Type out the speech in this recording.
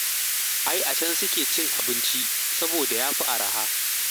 Ai a can suke cin abinci saboda ya fi arha sosai